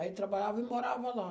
Aí trabalhava e morava lá.